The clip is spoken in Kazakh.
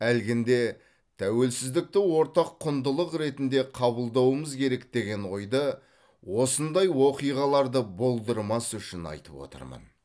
әлгінде тәуелсіздікті ортақ құндылық ретінде қабылдауымыз керек деген ойды осындай оқиғаларды болдырмас үшін айтып отырмын